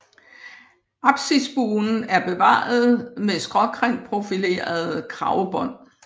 Apsisbuen er bevaret med skråkantprofilerede kragbånd